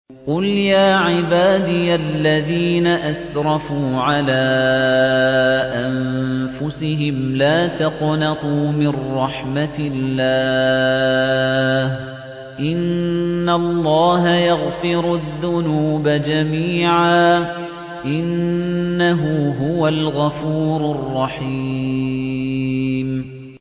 ۞ قُلْ يَا عِبَادِيَ الَّذِينَ أَسْرَفُوا عَلَىٰ أَنفُسِهِمْ لَا تَقْنَطُوا مِن رَّحْمَةِ اللَّهِ ۚ إِنَّ اللَّهَ يَغْفِرُ الذُّنُوبَ جَمِيعًا ۚ إِنَّهُ هُوَ الْغَفُورُ الرَّحِيمُ